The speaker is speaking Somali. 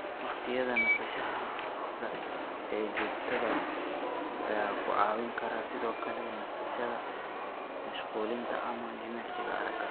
Waqtiyada nasashada ee joogtada ah ayaa ku caawin kara sidoo kale nasashada, mashquulinta, ama jimicsiga aragga.